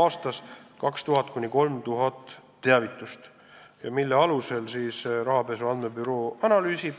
aastas 2000–3000 teavitust, mida büroo analüüsib.